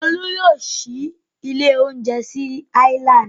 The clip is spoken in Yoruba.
Olú yóò ṣí ilé-oúnjẹ sí Island.